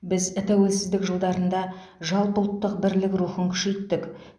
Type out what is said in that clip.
біз тәуелсіздік жылдарында жалпы ұлттық бірлік рухын күшейттік